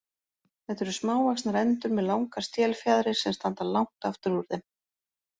Þetta eru smávaxnar endur með langar stélfjaðrir sem standa langt aftur úr þeim.